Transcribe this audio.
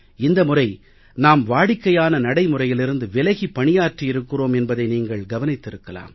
இந்த முறை நாம் வாடிக்கையான நடைமுறையிலிருந்து விலகி பணியாற்றி இருக்கிறோம் என்பதை நீங்கள் கவனித்திருக்கலாம்